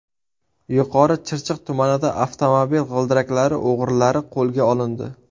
Yuqori Chirchiq tumanida avtomobil g‘ildiraklari o‘g‘rilari qo‘lga olindi.